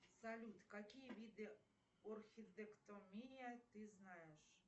салют какие виды орхидэктомия ты знаешь